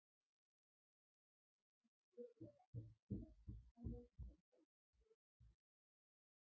Hann mundi örugglega ekki hafa neitt á móti því að ég flytti í það.